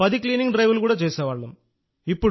10 cleaning డ్రైవ్లు చేసేవాళ్లం